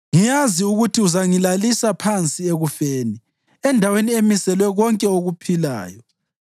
Ngiyazi ukuthi uzangilalisa phansi ekufeni, endaweni emiselwe konke okuphilayo.